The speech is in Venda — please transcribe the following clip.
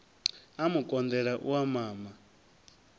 a mu konḓela u mama